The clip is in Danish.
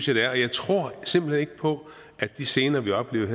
jeg tror simpelt hen ikke på at de scener vi oplevede